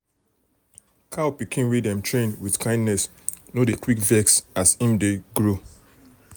cow pikin wey dem train with kindness no dey quick vex as em dey grow.